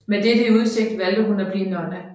Med dette i udsigt valgte hun at blive nonne